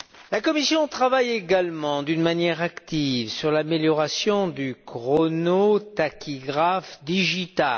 La Commission travaille également d'une manière active sur l'amélioration du chronotachygraphe digital.